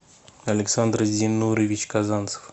александр зиннурович казанцев